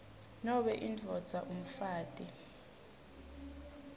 nobe indvodza umfati